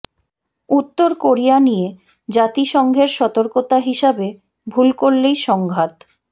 উত্তর কোরিয়া নিয়ে জাতিসংঘের সতর্কতা হিসাবে ভুল করলেই সংঘাত